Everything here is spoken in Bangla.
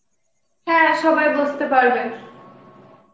হ্যাঁ সবাই বুঝতে পারবে